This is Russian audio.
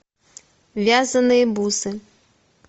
вязанные бусы